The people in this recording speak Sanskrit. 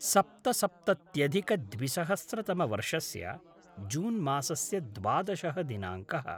सप्तसप्तत्यधिकद्विसहस्रतमवर्षस्य जून् मासस्य द्वादशः दिनाङ्कः